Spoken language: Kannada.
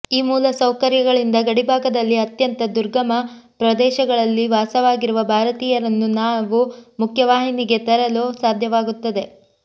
ಈ ಮೂಲ ಸೌಕರ್ಯಗಳಿಂದ ಗಡಿ ಭಾಗದಲ್ಲಿ ಅತ್ಯಂತ ದುರ್ಗಮ ಪ್ರದೇಶಗಳಲ್ಲಿ ವಾಸವಾಗಿರುವ ಭಾರತೀಯರನ್ನು ನಾವು ಮುಖ್ಯ ವಾಹಿನಿಗೆ ತರಲು ಸಾಧ್ಯವಾಗುತ್ತದೆ